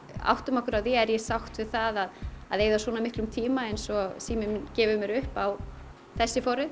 áttum okkur á því er ég sátt við það að eyða svona miklum tíma eins og síminn minn gefi mér upp á þessi forrit